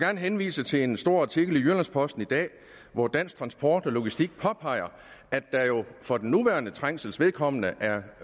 henvise til en stor artikel i jyllands posten i dag hvor dansk transport og logistik påpeger at der jo for den nuværende trængsels vedkommende